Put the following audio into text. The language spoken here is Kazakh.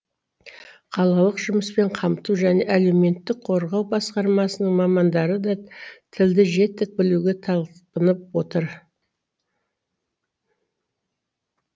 қалалық жұмыспен қамту және әлеуметтік қорғау басқармасының мамандары да тілді жетік білуге талпынып отыр